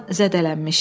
Duncan zədələnmişdi.